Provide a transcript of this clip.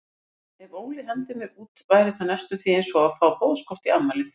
Ef Óli hendir mér út væri það næstum því einsog að fá boðskort í afmælið.